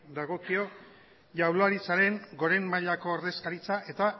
dagokio jaurlaritzaren goren mailako ordezkaritza eta